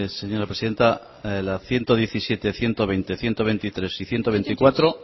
señora presidenta la ciento diecisiete ciento veinte ciento veintitrés y ciento veinticuatro